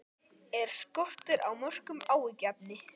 Er skortur á mörkum áhyggjuefni?